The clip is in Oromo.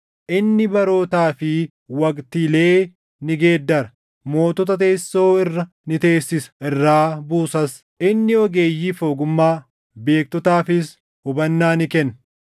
Inni barootaa fi waqtiilee ni geeddara; mootota teessoo irra ni teessisa; irraa buusas. Inni ogeeyyiif ogummaa, beektotaafis hubannaa ni kenna.